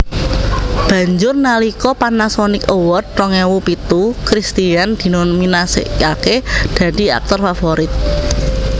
Banjur nalika Panasonic Award rong ewu pitu Christian dinominasèkaké dadi aktor favorit